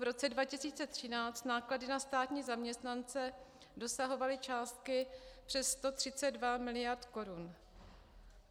V roce 2013 náklady na státní zaměstnance dosahovaly částky přes 132 mld. korun.